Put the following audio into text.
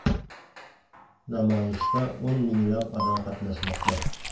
Namoyishda o‘n minglab odam qatnashmoqda.